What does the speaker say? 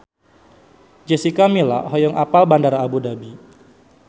Jessica Milla hoyong apal Bandara Abu Dhabi